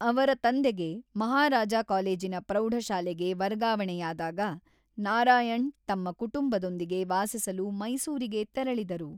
ಅವರ ತಂದೆಗೆ ಮಹಾರಾಜ ಕಾಲೇಜಿನ ಪ್ರೌಢಶಾಲೆಗೆ ವರ್ಗಾವಣೆಯಾದಾಗ ನಾರಾಯಣ್ ತಮ್ಮ ಕುಟುಂಬದೊಂದಿಗೆ ವಾಸಿಸಲು ಮೈಸೂರಿಗೆ ತೆರಳಿದರು.